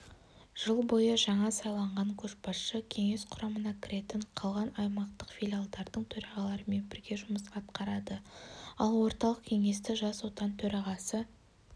жыл бойы жаңа сайланған көшбасшы кеңес құрамына кіретін қалған аймақтық филиалдардың төрағаларымен бірге жұмыс атқарады ал орталық кеңесті жас отан төрағасы